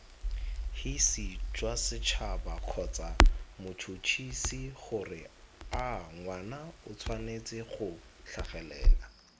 hisijwasets habakgotsamots huts hisigoreangwanaotshwanetsego tlhagelela